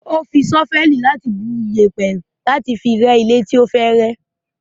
Ó fi ṣọ́fẹ́ẹ̀lì bu iyẹ̀pẹ̀ láti dí ilẹ̀ ilé tí ó fẹ́ rẹ́.